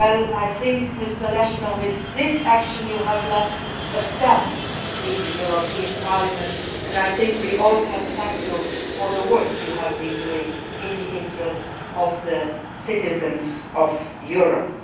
I think, Mr Lechner, with this action you have left a stamp on the European Parliament and I think we can all thank you for the work you have done in the interests of the citizens of Europe.